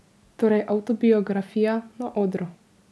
Torej avtobiografija na odru.